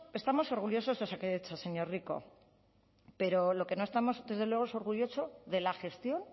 estamos orgullosos de osakidetza señor rico pero lo que no estamos desde luego es orgullosos de la gestión